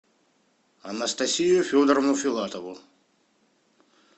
анастасию федоровну филатову